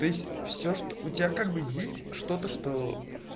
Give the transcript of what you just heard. все что у тебя как бы есть что-то что